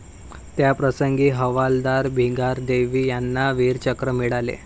त्याप्रसंगी हवालदार भिंगारदिवे यांना वीरचक्र मिळाले.